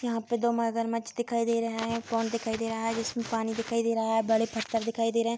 यहाँ पर दो मगरमछ दिखाई दे रहा है पोंड दिखाई दे रहा है जिसमें पानी दिखाई दे रहा है बड़े पत्थर दिखाई दे रहे हैं।